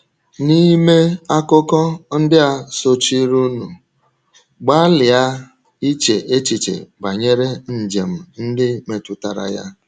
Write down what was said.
N’ime akụkọ ndị a sochirinụ, gbalịa iche echiche banyere njem ndị metụtara ya.